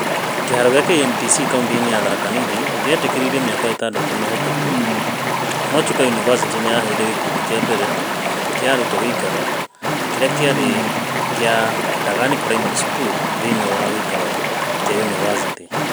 Kĩharo kĩa KMTC kaunti-inĩ ya Tharaka Nithi kĩetĩkĩririo mĩaka ĩtandatũ mĩhĩtũku no Chuka yunivacItI nĩ yaheire gĩkundi kĩa mbere kĩa arutwo gĩikaro gĩakĩarĩ kĩa Ndagani Primary School, thĩinĩ wa gĩikaro kĩa yunivasĩtĩ.